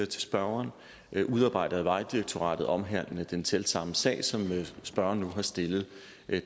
til spørgeren udarbejdet af vejdirektoratet omhandlende den selv samme sag som spørgeren nu har stillet